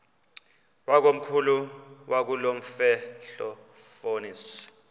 wakomkhulu wakulomfetlho fonis